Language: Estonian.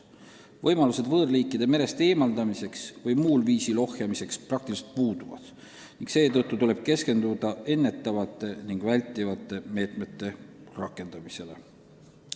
Võimalused võõrliikide merest eemaldamiseks või muul viisil ohjeldamiseks sama hästi kui puuduvad, seetõttu tuleb keskenduda ennetavate ja vältivate meetmete rakendamisele.